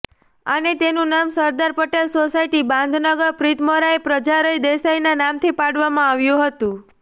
અને તેનું નામ સરદાર પટેલે સોસાયટી બાંધનગર પ્રીતમરાય પ્રજરાય દેસાઇના નામથી પાડવામાં આવ્યું હતું